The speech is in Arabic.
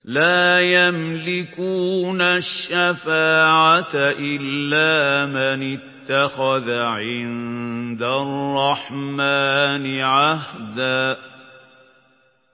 لَّا يَمْلِكُونَ الشَّفَاعَةَ إِلَّا مَنِ اتَّخَذَ عِندَ الرَّحْمَٰنِ عَهْدًا